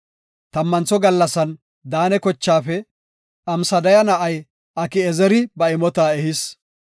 Tammantho gallasan Daane kochaafe Amsadaya na7ay Aki7ezeri ba imota ehis.